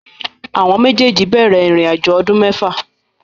Méjèèjì jẹ́ ọdún mẹ́fà.